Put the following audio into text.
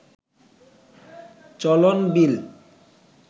চলন বিল